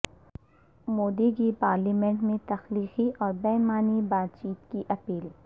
مودی کی پارلیمنٹ میں تخلیقی اور بامعنی بات چیت کی اپیل